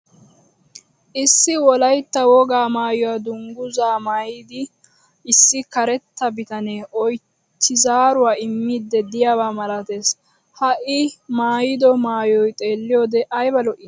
Issi Wolaytta wogaa maayuwa dungguzza maayida issi karetta bitanee oychchi zaaruwa immidi diyabaa malatees. Ha I maayido maayoy xeelliyode ayba lo'ii!